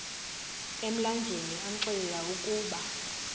emlanjeni amxelela ukuba